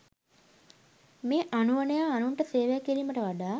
මේ අනුවණයා අනුන්ට සේවය කිරීමට වඩා